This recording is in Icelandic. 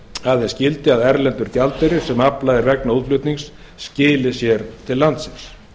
aðeins gildi að erlendur gjaldeyrir sem aflað er vegna útflutnings skili sér til landsins